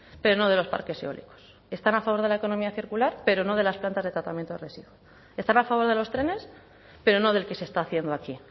pero no de los parques eólicos están a favor de la economía circular pero no de las plantas de tratamiento de residuos están a favor de los trenes pero no del que se está haciendo aquí